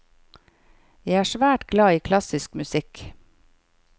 Jeg er svært glad i klassisk musikk.